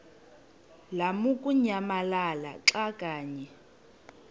lamukunyamalala xa kanye